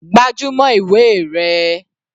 Gbájúmọ́ ìwé rẹ.